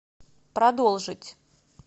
продолжить